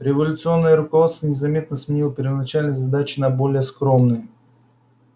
революционное руководство незаметно сменило первоначальные задачи на более скромные